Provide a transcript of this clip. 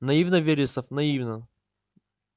наивно вересов наивно